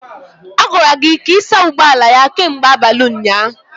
A gwara gị ka ị saa ụgbọ ala ya kemgbe abalị ụnyaahụ